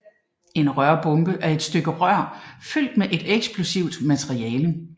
En rørbombe er et stykke rør fyldt med et eksplosivt materiale